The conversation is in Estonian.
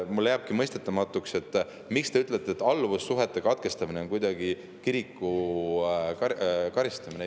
Mulle jääbki mõistetamatuks, miks te ütlete, et alluvussuhete katkestamine on kiriku karistamine.